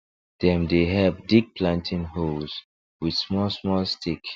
dem dey help dig planting holes with smallsmall stick